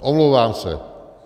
Omlouvám se.